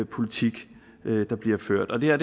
politik der bliver ført og det her